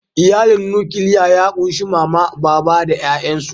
Iyalin nukiliya ya kunshi mama, baba da ƴayansu.